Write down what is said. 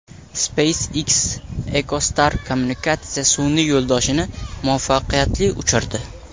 SpaceX Echostar kommunikatsiya sun’iy yo‘ldoshini muvaffaqiyatli uchirdi.